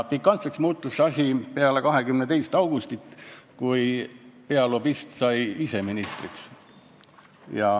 Pikantseks muutus asi peale 22. augustit, kui pealobist sai ise ministriks.